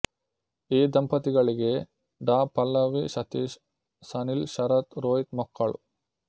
ಈ ದಂಪತಿಗಳಿಗೆ ಡಾ ಪಲ್ಲವಿ ಸತೀಶ್ ಸನಿಲ್ ಶರತ್ ರೋಹಿತ್ ಮಕ್ಕಳು